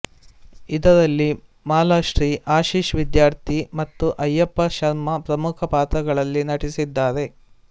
ಇದರಲ್ಲಿ ಮಾಲಾಶ್ರೀ ಆಶಿಶ್ ವಿದ್ಯಾರ್ಥಿ ಮತ್ತು ಅಯ್ಯಪ್ಪ ಶರ್ಮಾ ಪ್ರಮುಖ ಪಾತ್ರಗಳಲ್ಲಿ ನಟಿಸಿದ್ದಾರೆ